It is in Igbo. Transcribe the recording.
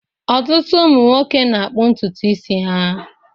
Ọtụtụ ụmụ nwoke na-akpụ ntutu isi ha